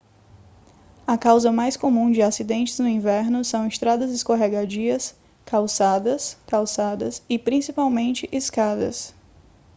a causa mais comum de acidentes no inverno são estradas escorregadias calçadas calçadas e principalmente escadas